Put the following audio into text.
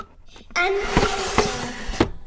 En þá það.